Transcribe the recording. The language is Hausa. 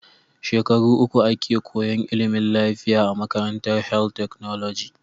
Shekara uku ake koyan ilimin lafiya a makarantar health technology